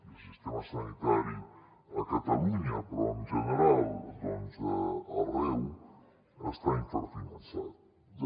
el sistema sanitari a catalunya però en general doncs arreu estan infrafinançats